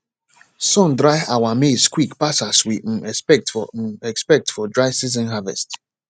sun dry our maize quick pass as we um expect for um expect for dry season harvest